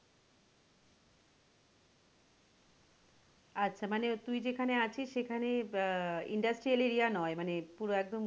আচ্ছা মানে তুই যেখানে আছিস সেখানে আহ industrial area নয় মানে পুরো একদম,